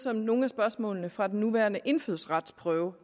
er nogle af spørgsmålene fra den nuværende indfødsretsprøve